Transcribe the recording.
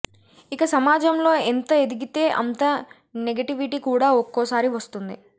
ఇక సమాజంలో ఎంత ఎదిగితే అంత నెగటివిటీ కూడా ఒక్కోసారి వస్తుంది